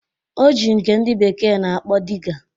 O ji nke ndị bekee na-akpọ Diga